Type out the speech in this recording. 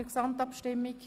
– Das ist der Fall.